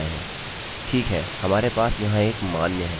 इनके लिए बहुत सारे विकल्प हैं